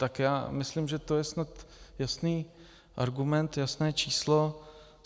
Tak já myslím, že to je snad jasný argument, jasné číslo.